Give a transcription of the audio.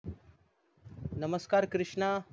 नमस्कार कृष्णा